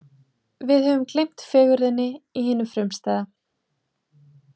Við höfum gleymt fegurðinni í hinu frumstæða.